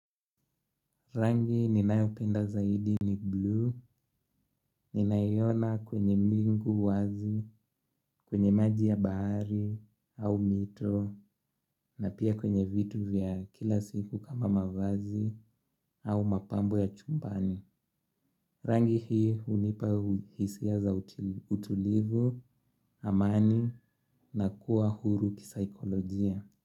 Rangi ninayopenda zaidi ni blue, ninayona kwenye mingu wazi, kwenye maji ya baari, au mito, na pia kwenye vitu vya kila siku kama mavazi, au mapambo ya chumbani. Rangi hii unipa hisia za utulivu, amani, na kuwa huru kisaikolojia.